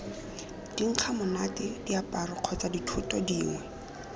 dinkgamonate diaparo kgotsa dithoto dingwe